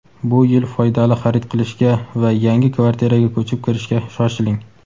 Bu yil foydali xarid qilishga va yangi kvartiraga ko‘chib kirishga shoshiling!.